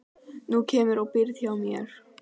Nú kemurðu og býrð hjá mér